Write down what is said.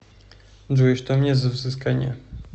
джой что у меня за взыскание